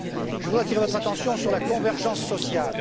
Je voudrais attirer votre attention sur la convergence sociale.